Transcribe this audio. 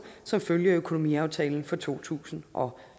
som følge af økonomiaftalen for to tusind og